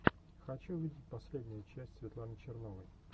хочу увидеть последнюю часть светланы черновой